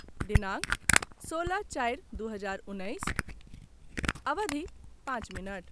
दिनांक सोलह चारि दू हजार उन्नैस, अवधि पाँच मिनट